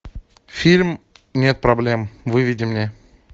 фильм нет проблем выведи мне